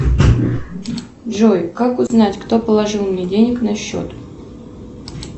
джой как узнать кто положил мне денег на счет